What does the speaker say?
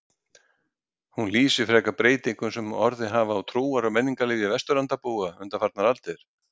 Hún lýsi frekar breytingum sem orðið hafa á trúar- og menningarlífi Vesturlandabúa undanfarnar aldir.